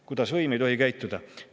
Kuidas võim ei tohi käituda!